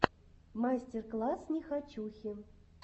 мастер класс нехочухи